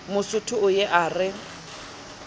mosotho o ye a re